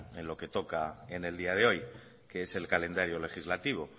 en lo que toca en el día de hoy que es el calendario legislativo